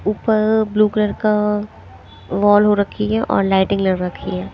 ऊपर अ blue colour का वॉल हो रखी है और लाइटिंग लग रखी है।